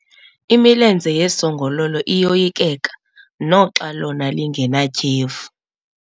Imilenze yesongololo iyoyikeka naxa lona lingenatyhefu.